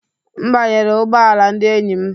M banyere ụgbọ ala ndị enyi m.